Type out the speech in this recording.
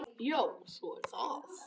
Já, svo er það.